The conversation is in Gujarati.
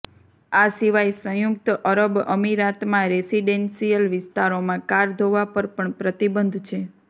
આ સિવાય સંયુક્ત અરબ અમીરાતમાં રેસિડેન્સિયલ વિસ્તારોમાં કાર ધોવા પર પણ પ્રતિબંધ છે